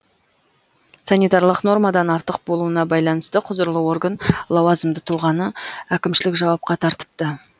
санитарлық нормадан артық болуына байланысты құзырлы орган лауазымды тұлғаны әкімшілік жауапқа тартыпты